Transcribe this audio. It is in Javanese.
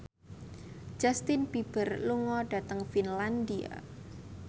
Justin Beiber lunga dhateng Finlandia